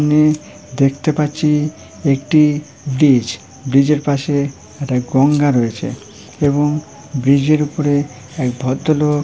নে দেখতে পাচ্ছি একটি বিজ ব্রিজ -এর পাশে একটা গঙ্গা রয়েছে এবং ব্রিজ -এর উপরে এক ভদ্রলোক--